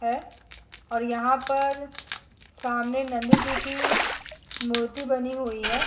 है और यहाँ पर सामने नंद जी की मूर्ति बनी हुई हैं।